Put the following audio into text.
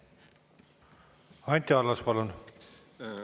Anti Allas, palun!